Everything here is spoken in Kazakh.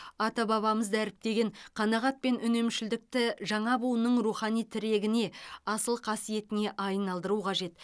ата бабамыз дәріптеген қанағат пен үнемшілдікті жаңа буынның рухани тірегіне асыл қасиетіне айналдыру қажет